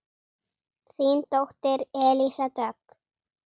Þín dóttir Elísa Dögg.